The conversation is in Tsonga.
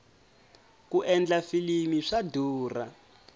ku endla filimi swa durha